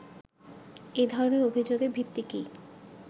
এ ধরনের অভিযোগের ভিত্তি কী